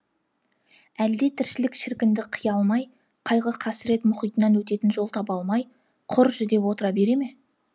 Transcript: әлде тіршілік шіркінді қия алмай қайғы қасірет мұхитынан өтетін жол таба алмай құр жүдеп отыра бере ме